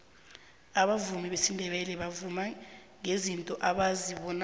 abavumi besindebele bavuma ngezinto abazibonako